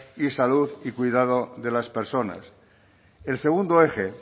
y salud y cuidado de las personas el segundo eje